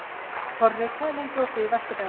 Korri, hvað er lengi opið í Vesturbæjarís?